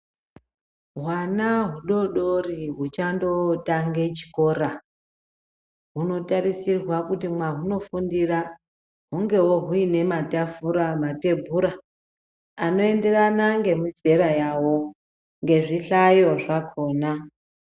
Hwana hudodori huchandotange chikora. Hunotarisirwa kuti mwahunofundira hungevo huine matafura, matebhura anoenderana ngemizera yavo ngezvihlayo zvakona.